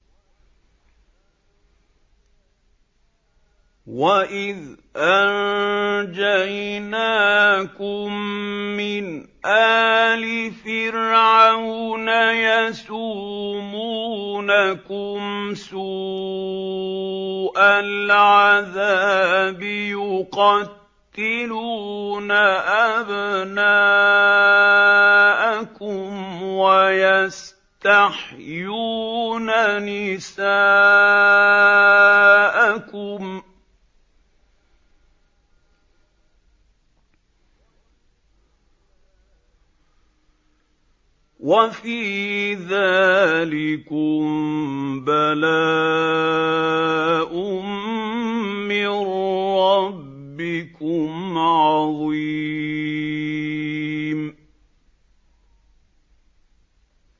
وَإِذْ أَنجَيْنَاكُم مِّنْ آلِ فِرْعَوْنَ يَسُومُونَكُمْ سُوءَ الْعَذَابِ ۖ يُقَتِّلُونَ أَبْنَاءَكُمْ وَيَسْتَحْيُونَ نِسَاءَكُمْ ۚ وَفِي ذَٰلِكُم بَلَاءٌ مِّن رَّبِّكُمْ عَظِيمٌ